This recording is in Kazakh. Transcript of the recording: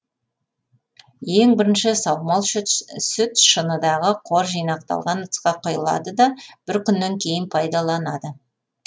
ең бірінші саумал сүт шыныдағы қор жинақталған ыдысқа кұйылады да бір күннен кейін пайдаланады